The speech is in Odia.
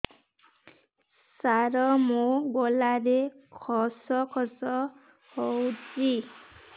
ସାର ମୋ ଗଳାରେ ଖସ ଖସ ହଉଚି